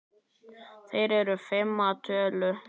Þær eru fimm að tölu.